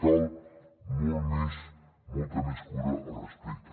cal molta més cura al respecte